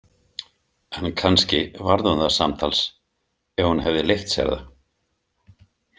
En kannski varð hún það samtals Ef hún hefði leyft sér það.